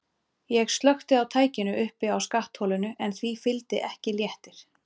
Ég slökkti á tækinu uppi á skattholinu en því fylgdi ekki léttir.